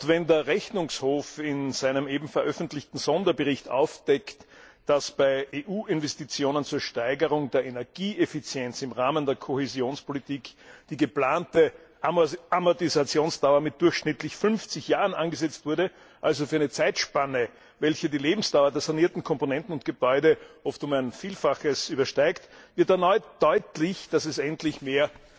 Wenn der Rechnungshof in seinem eben veröffentlichten Sonderbericht aufdeckt, dass bei EU Investitionen zur Steigerung der Energieeffizienz im Rahmen der Kohäsionspolitik die geplante Amortisationsdauer mit durchschnittlich 50 Jahren angesetzt wurde, also für eine Zeitspanne, welche die Lebensdauer der sanierten Komponenten und Gebäude oft um ein Vielfaches übersteigt, wird erneut deutlich, dass es endlich mehr